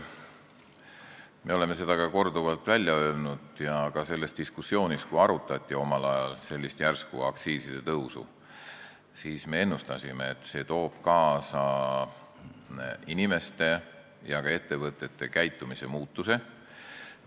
Me oleme seda korduvalt välja öelnud ja ka selles diskussioonis, kui omal ajal sellist järsku aktsiisitõusu arutati, me ennustasime, et see toob kaasa inimeste ja ka ettevõtete käitumise muutuse.